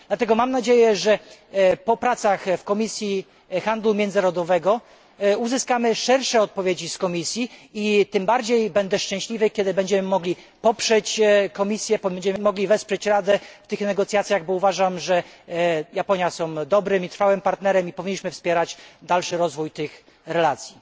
Dlatego mam nadzieję, że po pracach w Komisji Handlu Międzynarodowego, uzyskamy szersze odpowiedzi z Komisji i tym bardziej będę szczęśliwy, kiedy będziemy mogli poprzeć Komisję i wesprzeć Radę w tych negocjacjach, bo uważam, że Japonia jest dobrym i trwałym partnerem i powinniśmy wspierać dalszy rozwój tych relacji.